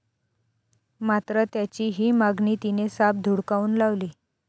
मात्र त्याची ही मागणी तिने साफ धुडकावून लावली.